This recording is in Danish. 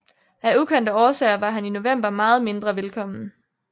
Af ukendte årsager var han i november meget mindre velkommen